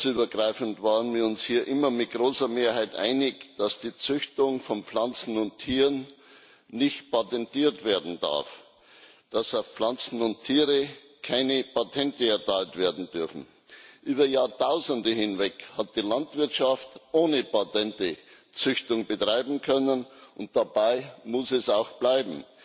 Fraktionsübergreifend waren wir uns hier immer mit großer Mehrheit einig, dass die Züchtung von Pflanzen und Tieren nicht patentiert werden darf, dass auf Pflanzen und Tiere keine Patente erteilt werden dürfen. Über Jahrtausende hinweg hat die Landwirtschaft ohne Patente Züchtung betreiben können, und dabei muss es auch bleiben.